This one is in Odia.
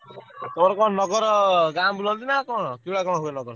ତମର କଣ ନଗର ଗାଁ ବୁଲନ୍ତି ନା କଣ ହୁଏ ନଗର ସବୁ?